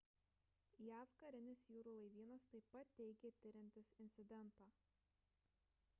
jav karinis jūrų laivynas taip pat teigė tiriantis incidentą